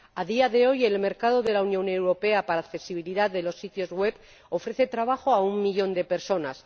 A día de hoy, el mercado de la Unión Europea para accesibilidad de los sitios web ofrece trabajo a un millón de personas.